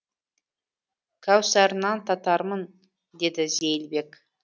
кәусарынан татармын деді зейілбек